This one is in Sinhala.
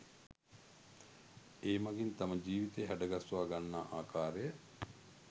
ඒ මගින් තම ජීවිතය හැඩගස්වා ගන්නා ආකාරය